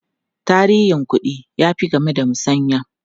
Tarihin kuɗi ya fi game da musanya.